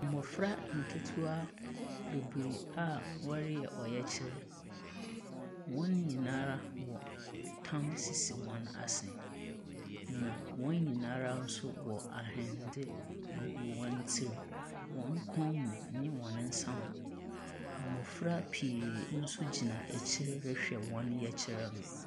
Mmɔfra nketewa bebiree a wɔreyɛ ɔyɛkyerɛ. Wɔn nyinaa ɛtam sisi wɔn asene. Na wɔn nyinaa ara nso wɔ ahwende gugu wɔn tirim, wɔn kɔn mu ɛne wɔn nsa ho. Mmɔfra pii nso gyina akyire rehwɛ wɔn yɛkyerɛ no.